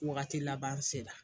Wagati laban sera